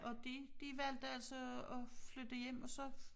Og de de valgte altså at at flytte hjem og så